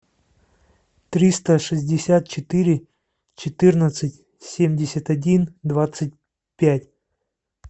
триста шестьдесят четыре четырнадцать семьдесят один двадцать пять